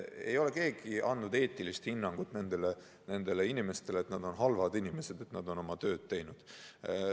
Ei ole keegi andnud nendele inimestele eetilist hinnangut, et nad on halvad inimesed, kuna nad on oma tööd teinud.